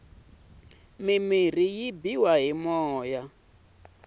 mirhi yi biwa hi moya